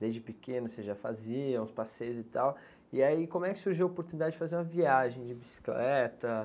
Desde pequeno você já fazia uns passeios e tal, e aí como é que surgiu a oportunidade de fazer uma viagem de bicicleta?